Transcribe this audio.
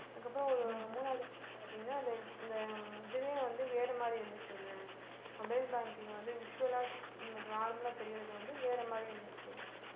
அதுக்கப்புறம் ஒரு மூணாவது தடவை பார்த்தீங்கன்னா அது அந்த இதுவே வந்து வேற மாதிரி இருந்துச்சு அந்த mobile banking வந்து visual ஆ normal ஆ தெரியறது வந்து வேற மாதிரி இருந்துச்சு